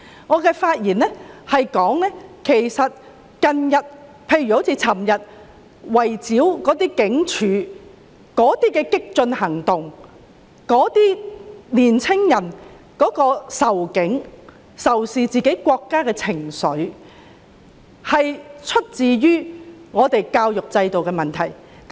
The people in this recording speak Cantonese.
我發言指出，近日的激進行動，例如昨晚圍堵警察總部的行為，以及年輕人仇警和仇視自己國家的情緒，是源於我們的教育制度出了問題。